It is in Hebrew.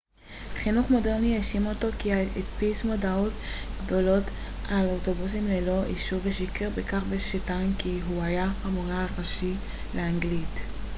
חינוך מודרני האשים אותו כי הדפיס מודעות גדולות על אוטובוסים ללא אישור ושיקר בכך שטען כי הוא היה המורה הראשי לאנגלית